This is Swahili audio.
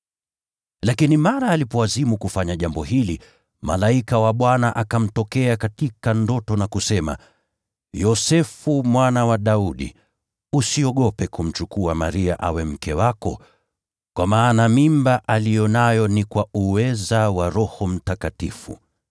Lakini mara alipoazimu kufanya jambo hili, malaika wa Bwana akamtokea katika ndoto na kusema, “Yosefu mwana wa Daudi, usiogope kumchukua Maria awe mke wako, kwa maana mimba aliyo nayo ni kwa uweza wa Roho Mtakatifu.